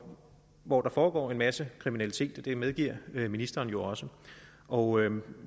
hvor der foregår en masse kriminalitet det medgiver ministeren jo også og